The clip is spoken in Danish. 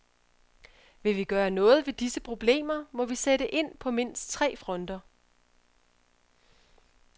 Vil vi gøre noget ved disse problemer, må vi sætte ind på mindst tre fronter.